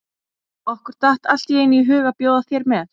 Okkur datt allt í einu í hug að bjóða þér með.